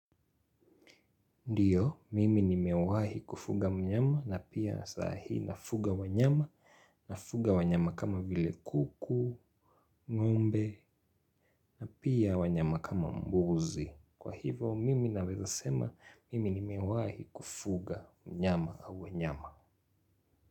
Ndiyo, mimi nimewahi kufuga mnyama na pia saa hii nafuga wanyama, nafuga wanyama kama vile kuku, ngombe, na pia wanyama kama mbuzi. Kwa hivo, mimi naweza sema, mimi nimewahi kufuga mnyama au wanyama.